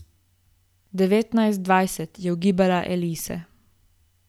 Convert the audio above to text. Devetnajst, dvajset, je ugibala Elise.